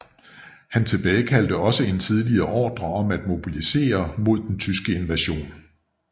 Han tilbagekaldte også en tidligere ordre om at mobilisere mod den tyske invasion